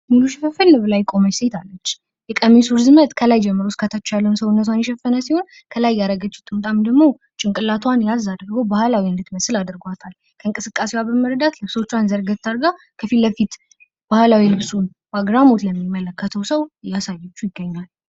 ሙሉ ሽፍንፍን ብላ የቆመች ሴታለች ። የቀሚሱ ርዝመት ከላይ ጀምሮ እስከ ታች ያለውን ሰውነቷን የሸፈነ ሲሆን፤ ከላይ ያደረገችው ጥምጣም ደግሞ ጭንቅላቷን ያዝ አግርጎ ባህላዊ እንድትመስል አድርጓታል። ከእንቅስቃሴዋ በመረዳት ልብሶቿን ታርጋት አግርጋ ከፊት ለፊት ባህላዊ ልብሱን በአግራሞት ለሚመለከተው ሰው እያሳየችው ይገኛል።